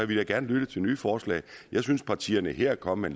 vi da gerne lyttet til nye forslag jeg synes partierne her er kommet